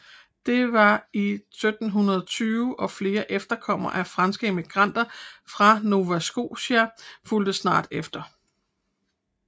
Det var i 1720 og flere efterkommere af franske immigranter fra Nova Scotia fulgte snart efter